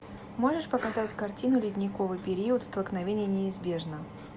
можешь показать картину ледниковый период столкновение неизбежно